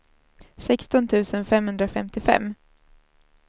sexton tusen femhundrafemtiofem